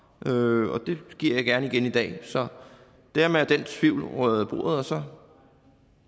og det giver jeg gerne igen i dag så dermed er den tvivl ryddet af bordet og så